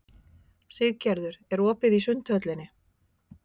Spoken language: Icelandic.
Siggerður, er opið í Sundhöllinni?